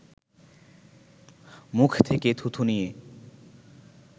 মুখ থেকে থুথু নিয়ে